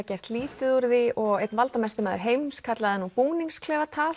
gert lítið úr því og einn valdamesti maður heims kallaði nú